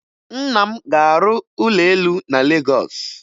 Nna m ga-arụ ụlọ elu na Legọs